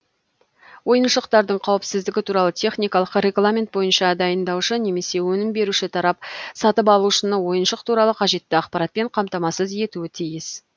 ойыншықтардың қауіпсіздігі туралы техникалық регламент бойынша дайындаушы немесе өнім беруші тарап сатып алушыны ойыншық туралы қажетті ақпаратпен қамтамасыз етуі тиіс